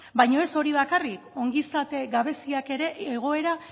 baino ez hori bakarrik ongizate gabeziak ere